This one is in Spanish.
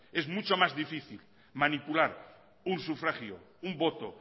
es mucho más difícil manipular un sufragio un voto